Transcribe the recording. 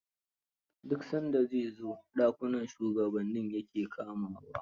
Duk san da zai zo, dakunan shugabanni ya ke kamawa.